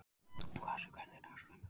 Kvasir, hvernig er dagskráin í dag?